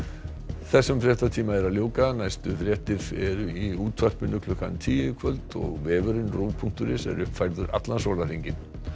þessum fréttatíma er að ljúka næstu fréttir eru í útvarpinu klukkan tíu í kvöld og vefurinn punktur is er uppfærður allan sólarhringinn